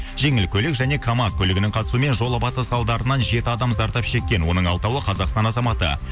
жеңіл көлік және камаз көлігінің қатысуымен жолапаты салдарынан жеті адам зардап шеккен оның алтауы қазақстан азаматы